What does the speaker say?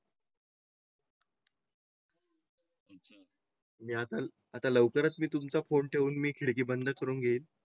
मी आता आता लवकरच मी तुमचा फोन ठेवून मी खिडकी बंद करून घेईल.